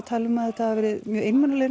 tala um að þetta hafi verið mjög